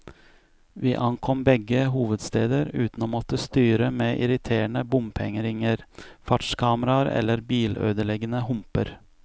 Vi ankom begge hovedsteder uten å måtte styre med irriterende bompengeringer, fartskameraer eller bilødeleggende humper.